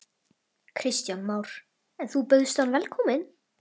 Kristján Már: En þú bauðst hann velkomin?